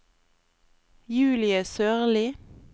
Julie Sørli